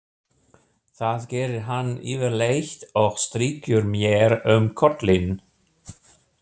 Það gerir hann yfirleitt og strýkur mér um kollinn.